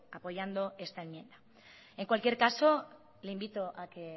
apoyando esta enmienda en cualquier caso le invito a que